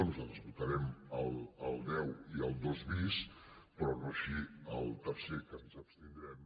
nosaltres votarem el deu i el dos bis però no així el tercer que ens abstindrem